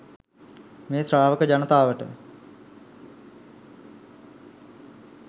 මේ ශ්‍රාවක ජනතාවට